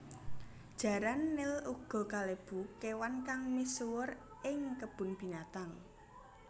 Jaran nil uga kalebu kéwan kang misuwur ing kebun binatang